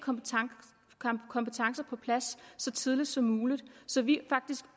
kompetencer på plads så tidligt som muligt så vi er faktisk